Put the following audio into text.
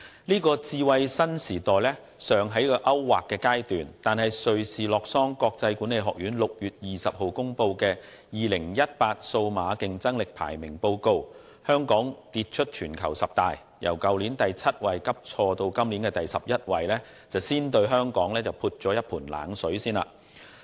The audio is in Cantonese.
這個智慧新時代尚在勾劃的階段，但瑞士洛桑國際管理發展學院於6月20日公布的《2018年數碼競爭力排名報告》，香港卻跌出全球十大，由去年的第七位急挫至今年的第十一位，先對香港撥了一盆冷水。